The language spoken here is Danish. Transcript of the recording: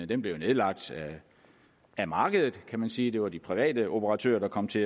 den blev jo nedlagt af markedet kan man sige det var de private operatører der kom til